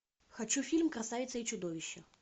хочу фильм красавица и чудовище